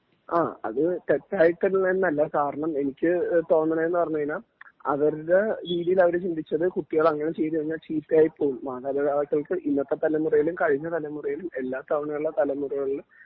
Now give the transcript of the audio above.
ആ അത് തെറ്റായിട്ടുള്ളത് എന്നല്ല കാരണം എനിക്കു തോന്നണേന്നു പറഞ്ഞു കഴിഞ്ഞാൽ അവരുടെ രീതിയില് അവര് ചിന്തിച്ചത് കുട്ടികള് അങ്ങനെ ചെയ്തു കഴിഞ്ഞാൽ ചീത്തയായി പോകും മാതാപിതാക്കൾക്ക് ഇന്നത്തെ തലമുറയിലും കഴിഞ്ഞ തലമുറകളിലും എല്ലാ തവണ ഉള്ള തലമുറകളിലും